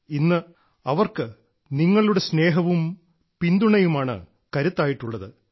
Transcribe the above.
ഇന്ന് അവർക്ക് നിങ്ങളുടെ സ്നേഹവും പിന്തുണയുമാണ് കരുത്തായിട്ടുള്ളത്